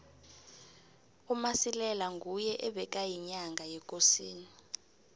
umasilela nguye ebekayinyanga yekosini